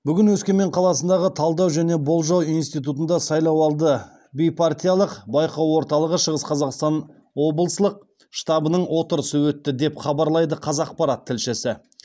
бүгін өскемен қаласындағы талдау және болжау институтында сайлауды бейпартиялық байқау орталығы шығыс қазақстан облыслық штабының отырысы өтті деп хабарлайды қазақпарат тілшісі